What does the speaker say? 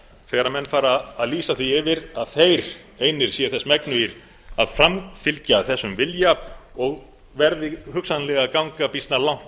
þegar menn fara að lýsa því yfir að þeir einir séu þess megnugir að framfylgja þessum vilja og verði hugsanlega að ganga býsna langt